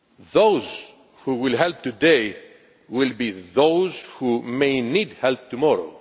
Those who help today will be those who may need help tomorrow.